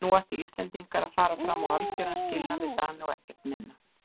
Nú ættu Íslendingar að fara fram á algjöran skilnað við Dani og ekkert minna.